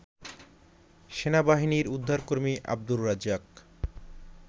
সেনাবাহিনীর উদ্ধারকর্মী আবদুর রাজ্জাক